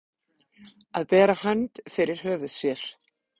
Að bera hönd fyrir höfuð sér